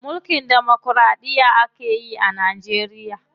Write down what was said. Mulkin demokiraɗiya akeyi a Najeriya.